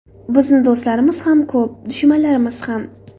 Bizni do‘stlarimiz ham ko‘p, dushmanlarimiz ham.